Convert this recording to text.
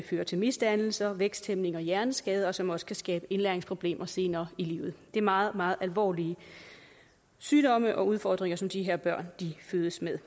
fører til misdannelser væksthæmning og hjerneskade og som også kan skabe indlæringsproblemer senere i livet det er meget meget alvorlige sygdomme og udfordringer som de her børn fødes med